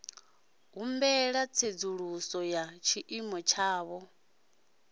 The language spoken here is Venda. humbela tsedzuluso ya tshiimo tshavho